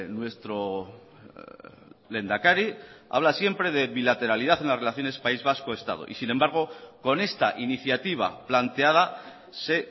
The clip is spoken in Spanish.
nuestro lehendakari habla siempre de bilateralidad en las relaciones país vasco estado y sin embargo con esta iniciativa planteada se